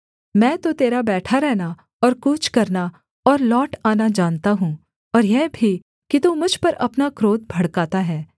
मैं तो तेरा बैठा रहना और कूच करना और लौट आना जानता हूँ और यह भी कि तू मुझ पर अपना क्रोध भड़काता है